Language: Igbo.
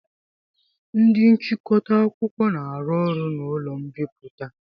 Ndị nchịkọta akwụkwọ na-arụ ọrụ n'ụlọ mbipụta.